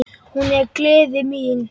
Hún er gleði mín.